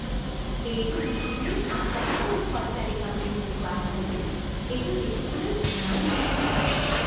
এইটো পৃথিৱীৰ আটাইতকৈ ওখ অট্টালিকা বুলি মোক কোৱা হৈছিল। এইটো দেখিবলৈ ইমান ধুনীয়া!